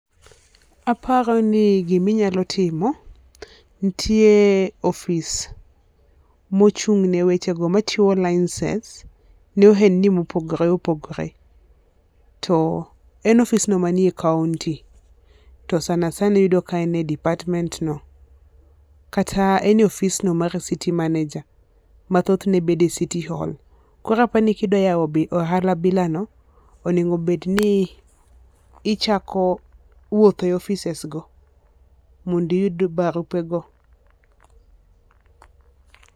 Aparo ni gi ma inyalo timo, nitie ofis ma ochung' ne wecho go ma chiwo lincense ne ohendni ma opogore opogore. To sana sana iyudo ka en e department no kata en ofis no mar city manager ma thoth ne bedo e city hall. Koro apani ki idwa yawo ohala bila no onego bed ni ichako wuothe e offices go mondo iyud barupe go.